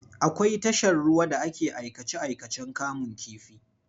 Akwai tashar ruwa da ake aikace-aikacen kamun kifi.